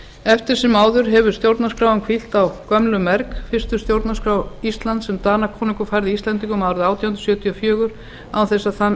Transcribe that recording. eftir sem áður hefur stjórnarskráin hvílt á gömlum merg fyrstu stjórnarskrá íslands sem danakonungur færði íslendingum árið átján hundruð sjötíu og fjögur án þess að